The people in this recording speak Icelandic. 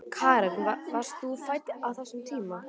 Karen: Varst þú fædd á þessum tíma?